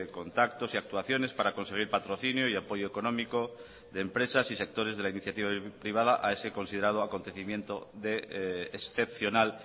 contactos y actuaciones para conseguir patrocinio y apoyo económico de empresas y sectores de la iniciativa privada a ese considerado acontecimiento de excepcional